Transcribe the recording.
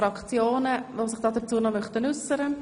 Möchte sich jemand dazu äussern?